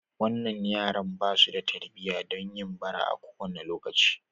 Wannan yaran ba su da tarbiyya don yin bara a kowane lokaci.